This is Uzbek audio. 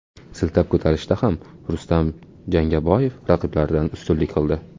Siltab ko‘tarishda ham Rustam Jangaboyev raqiblaridan ustunlik qildi.